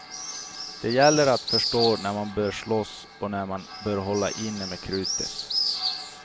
Det gäller att förstå när man bör slåss och när man bör hålla inne med krutet.